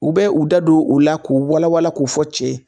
U bɛ u da don o la k'u wala wala k'o fɔ cɛ ye